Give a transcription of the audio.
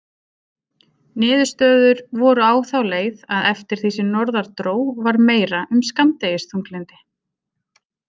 Niðurstöður voru á þá leið að eftir því sem norðar dró var meira um skammdegisþunglyndi.